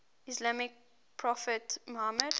islamic prophet muhammad